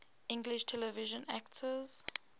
english television actors